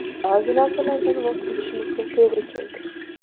Ba’zi narsalardan voz kechishimizga to‘g‘ri keldi.